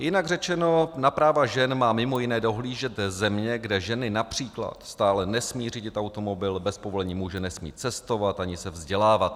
Jinak řečeno, na práva žen má mimo jiné dohlížet země, kde ženy například stále nesmí řídit automobil, bez povolení muže nesmí cestovat ani se vzdělávat.